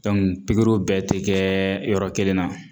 pikiriw bɛɛ te kɛɛ yɔrɔ kelen na.